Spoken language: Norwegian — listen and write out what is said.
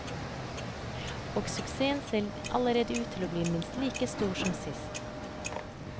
Og suksessen ser allerede ut til å bli minst like stor som sist.